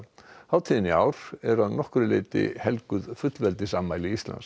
hátíðin í ár er að nokkru leyti helguð fullveldisafmæli Íslands